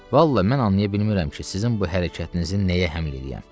Vallah mən anlaya bilmirəm ki, sizin bu hərəkətinizin nəyə həml eləyəm.